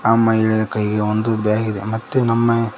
ಆ ಮಹಿಳಾ ಕೈಗೆ ಒಂದು ಬ್ಯಾಗಿದೆ ಮತ್ತೆ ನಮ್ಮ--